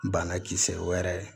Bana kisɛ wɛrɛ